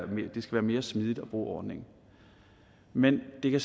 mere smidigt at bruge ordningen men det kan